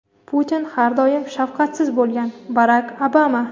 Putin har doim shafqatsiz bo‘lgan – Barak Obama.